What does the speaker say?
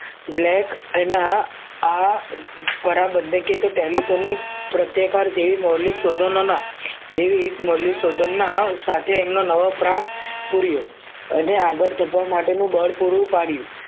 black એના આ પરાબદ્બધકે કે તો telephone ની પ્રત્યાકાર જેવી મૌલિક શોધનોના જેવી એક મૌલિક શોધના સાથે એમનો નવો પ્રાણ પૂર્યો અને આગળ ધપાવા માટેનું બળ પૂરું પાડ્યું